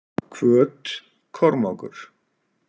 Hvöt- Kormákur